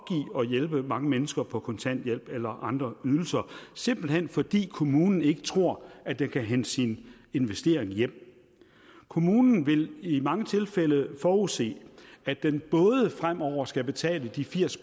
at hjælpe mange mennesker på kontanthjælp eller andre ydelser simpelt hen fordi kommunen ikke tror at den kan hente sin investering hjem kommunen vil i mange tilfælde forudse at den både fremover skal betale de firs